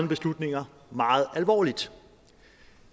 beslutninger meget alvorligt